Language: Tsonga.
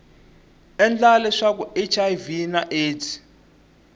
endla leswaku hiv na aids